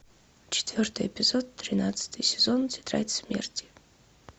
четвертый эпизод тринадцатый сезон тетрадь смерти